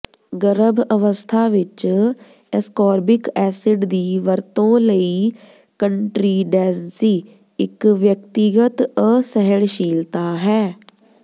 ਗਰਭ ਅਵਸਥਾ ਵਿੱਚ ਐਸਕੋਰਬਿਕ ਐਸਿਡ ਦੀ ਵਰਤੋਂ ਲਈ ਕੰਟ੍ਰੀਂਡੈਂਸੀ ਇੱਕ ਵਿਅਕਤੀਗਤ ਅਸਹਿਣਸ਼ੀਲਤਾ ਹੈ